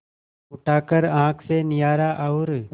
उठाकर आँख से निहारा और